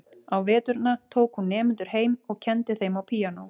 Á veturna tók hún nemendur heim og kenndi þeim á píanó.